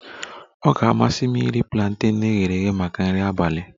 Ọ ga-amasị m iri planten e ghere eghe maka nri abalị